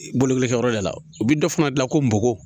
Bolokolikɛyɔrɔ de la u bɛ dɔ fana dilan ko bɔgɔ